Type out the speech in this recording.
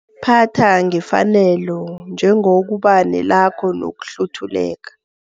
Phatha ngefanelo, njengokuba nelaka nokuhluthuleka.